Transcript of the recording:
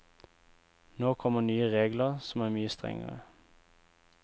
Nå kommer nye regler som er mye strengere.